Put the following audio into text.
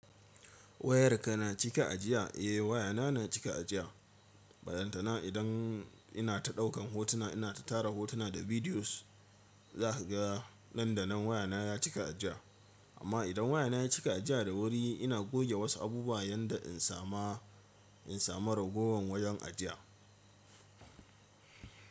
Wayarka na cika ajiya? Eh wayata na cika ajiya. Ballantana idan ina ta ɗaukan hotuna, ina ta tara hotuna da videos za kaga nan da nan wayata ta cika ajiya. Amma idan wayata ta cika ajiya da wuri ina goge wasu abubuwa yanda zan samu ragowar wajen ajiya.